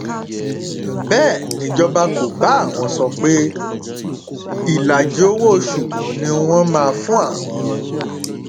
bẹẹ nìjọba kò bá àwọn sọ ọ pé ìlàjì owóoṣù ni wọn máa fún àwọn